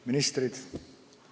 Ministrid!